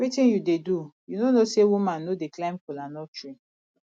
wetin you dey do you no know say woman no dey climb kola nut tree